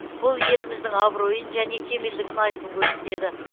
бұл еліміздің абыройын және кемелдігін айқын көрсетеді